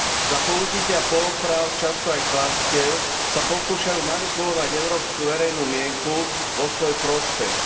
Za použitia poloprávd, často aj klamstiev, sa pokúšajú manipulovať európsku verejnú mienku vo svoj prospech.